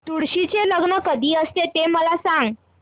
तुळशी चे लग्न कधी असते ते मला सांग